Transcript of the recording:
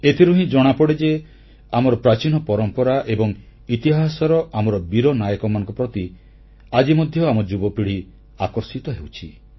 ଏଥିରୁ ହିଁ ଜଣାପଡ଼େ ଯେ ଆମର ପ୍ରାଚୀନ ପରମ୍ପରା ଏବଂ ଇତିହାସର ଆମର ବୀର ନାୟକମାନଙ୍କ ପ୍ରତି ଆଜି ମଧ୍ୟ ଆମ ଯୁବପିଢ଼ି ଆକର୍ଷିତ ହେଉଛି